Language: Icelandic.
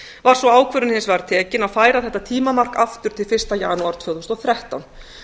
var svo ákvörðun hins vegar tekin að færa þetta tímamark aftur til fyrsta janúar tvö þúsund og þrettán